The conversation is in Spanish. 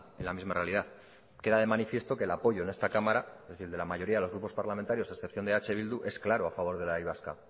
en la misma realidad queda de manifiesto que el apoyo en esta cámara es decir el de la mayoría de los grupos parlamentarios a excepción de eh bildu es claro a favor de la y vasca